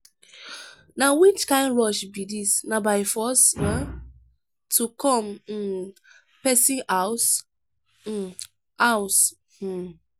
na which kin rush be dis na by force um to come um person house? um house? um